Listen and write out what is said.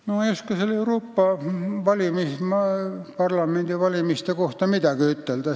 No ma ei oska nende Euroopa Parlamendi valimiste kohta midagi ütelda.